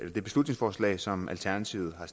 her beslutningsforslag som alternativet har